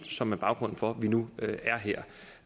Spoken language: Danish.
som er baggrunden for at vi nu er her